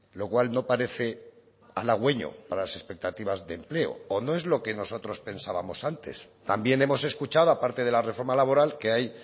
lo cual no parece halagüeño para las expectativas de empleo o no es lo que nosotros pensábamos antes también hemos escuchado a parte de la reforma laboral que hay